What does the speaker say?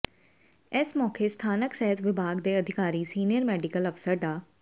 ਇਸ ਮੌਕੇ ਸਥਾਨਕ ਸਿਹਤ ਵਿਭਾਗ ਦੇ ਅਧਿਕਾਰੀ ਸੀਨੀਅਰ ਮੈਡੀਕਲ ਅਫਸਰ ਡਾ